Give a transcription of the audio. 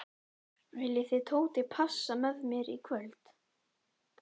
Viljið þið Tóti passa með mér í kvöld?